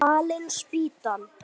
Fallin spýtan!